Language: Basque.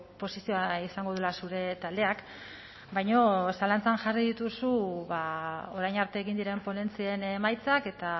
posizioa izango dela zure taldeak baina zalantzan jarri dituzu ba orain arte egin diren ponentzien emaitzak eta